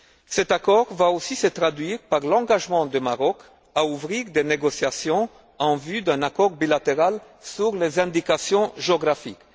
Cet accord va aussi se traduire par l'engagement du Maroc à ouvrir des négociations en vue d'un accord bilatéral sur les indications géographiques.